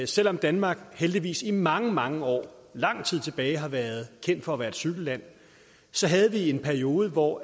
selv om danmark heldigvis i mange mange år lang tid tilbage har været kendt for at være et cykelland havde vi en periode hvor